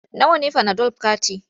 Nawa ne fanadol kati?